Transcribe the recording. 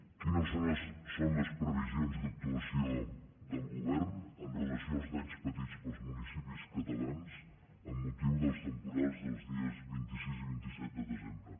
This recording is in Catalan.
quines són les previsions d’actuació del govern amb relació als danys patits pels municipis catalans amb motiu dels temporals dels dies vint sis i vint set de desembre